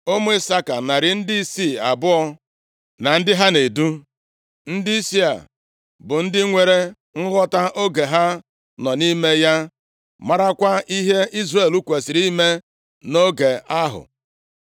Ụmụ Isaka; narị ndịisi abụọ (200), na ndị ha na-edu. Ndịisi a bụ ndị nwere nghọta oge ha nọ nʼime ya marakwa ihe Izrel kwesiri ime nʼoge ahụ.